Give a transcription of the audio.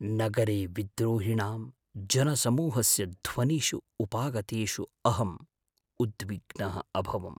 नगरे विद्रोहिणां जनसमूहस्य ध्वनिषु उपागतेषु अहम् उद्विग्नः अभवम्।